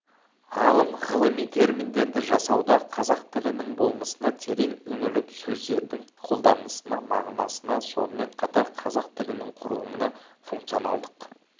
ғалым ғылыми терминдерді жасауда қазақ тілінің болмысына терең үңіліп сөздердің қолданысынына мағынасына сонымен қатар қазақ тілінің құрылымына функционалдық